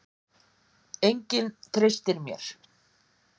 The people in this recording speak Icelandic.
Enginn treystir mér.